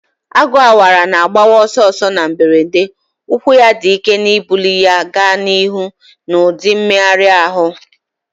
Agu awara na mgbawa ọsọ ọsọ na mberede, ụkwụ ya dị ike na-ebuli ya gaa n'ihu n'ụdị mmegharị ahụ.